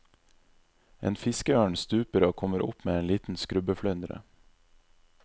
En fiskeørn stuper og kommer opp med en liten skrubbeflyndre.